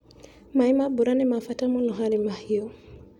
Maĩ ma mbura nĩ mabata mũno harĩ mahiũ.